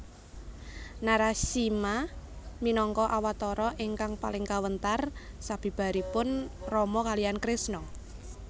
Narasimha minangka awatara ingkang paling kawentar sabibaripun Rama kaliyan Krisna